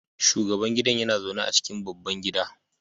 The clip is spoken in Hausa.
shugaban gidan yana zaune a cikin babban gida